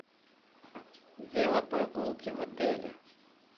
велопрогулки в отеле